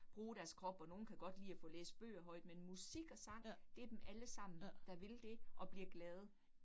Bruge deres krop og nogle kan godt lide at få læst bøger højt, men musik og sang det dem allesammen, der vil det og bliver glade